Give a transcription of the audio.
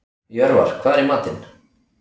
Jörvar, hvað er í matinn?